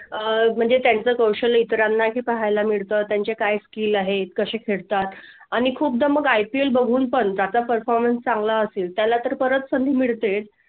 आह म्हणजे त्यांचे कौशल्य इतरांना ही पाहायला मिळतो. त्याचे काय skill आहेत, कसे खेळतात आणि खूप IPL बघून पण त्याचा performance चांगला असेल तर परत संधी मिळते.